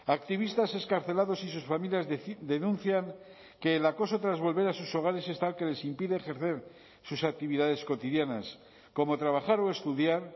activistas excarcelados y sus familias denuncian que el acoso tras volver a sus hogares es tal que les impide ejercer sus actividades cotidianas como trabajar o estudiar